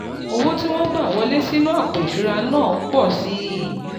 owó tí wọ́n gbà wọlé sínú àpò ìṣura náà n po si i i